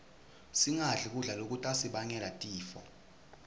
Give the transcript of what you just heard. singadli kudla lokutasibangela tifo